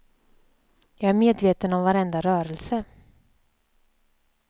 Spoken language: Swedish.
Jag är medveten om varenda rörelse.